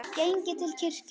Genginn til kirkju.